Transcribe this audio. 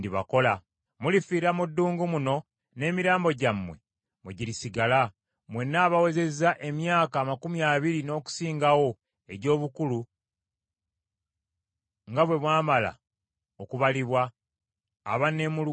Mulifiira mu ddungu muno n’emirambo gyammwe mwe girisigala; mwenna abawezezza emyaka amakumi abiri n’okusingawo egy’obukulu nga bwe mwamala okubalibwa, abanneemulugunyiza.